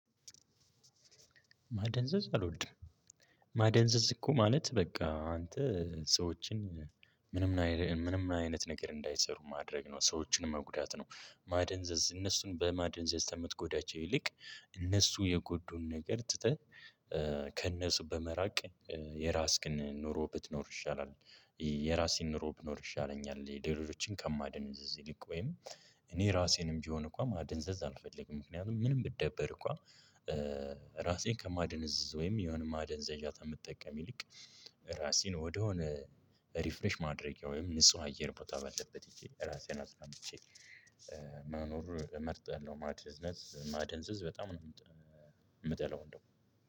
ማደንዘዝ አልወድም ማደንዘዝ እኮ ማለት በቃ አንተ ሰዎችን ምንም አይነት ነገር እንዳይሰሩ ማድረግ ነው። ሰዎችን መጉዳት ነው ማደንዘዝ እነሱን በማደንዘዝ ከምትጎዳቸው ይልቅ እነሱ የጎዱን ነገር ትተህ ከነሱ በመራቅ የራስክን ኑሮ ብትኖር ይሻላል። የራሴን ኑሮ ብኖር ይሻለኛል የሌሎችን ከማደነዝዝ ይልቅ ወይም እኔ ራሴንም ቢሆን እኮ ማደንዘዝ አልፈልግም። ምክንያቱም ምንም ብደበር እንኳ ራሴን ከማደነዝዝ ወይም የሆነ ማደንዘዣ ከምጠቀም ይልቅ ራሴን ወደ ሆነ ሪፍሬሽ ማድረጊያ ወይም ንጹህ አየር ቦታ ባለበት ሄጀ ራሴን አፅናንቸ መኖር እመርጣለሁ። ማደንዘዝ ማደንዘዝ በጣም ነው የምጠላው። እንደው